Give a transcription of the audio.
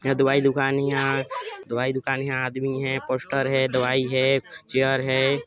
यहा दवाई दुकान इहाँ दवाई दुकान हे इहाँ आदमी है पोस्टर है दवाई है चेयर है।